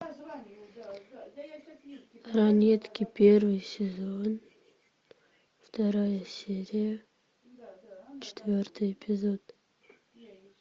ранетки первый сезон вторая серия четвертый эпизод